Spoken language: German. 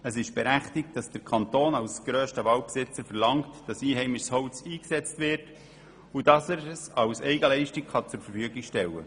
Es ist berechtigt, dass der Kanton als grösster Waldbesitzer verlangt, einheimisches Holz einzusetzen und es als Eigenleistung zur Verfügung zu stellen.